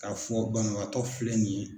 K'a fɔ banabagatɔ filɛ nin ye.